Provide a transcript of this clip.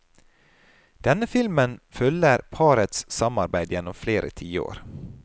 Denne filmen følger parets samarbeid gjennom flere tiår.